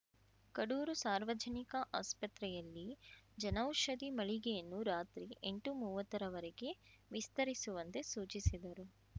ಕಡೂರು ಸಾರ್ವಜನಿಕ ಆಸ್ಪತ್ರೆಯಲ್ಲಿ ಜನೌಷಧಿ ಮಳಿಗೆಯನ್ನು ರಾತ್ರಿ ಎಂಟುಮೂವತ್ತರವರೆಗೆ ವಿಸ್ತರಿಸುವಂತೆ ಸೂಚಿಸಿದರು